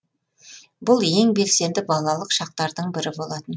бұл ең белсенді балалық шақтардың бірі болатын